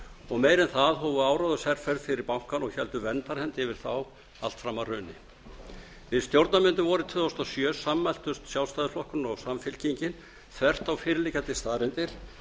og meira en það hófu áróðursherferð fyrir bankann og héldu verndarhendi yfir þá allt fram að hruni við stjórnarmyndun vorið tvö þúsund og sjö sammæltust sjálfstæðisflokkurinn og samfylkingin þvert á fyrirliggjandi staðreyndir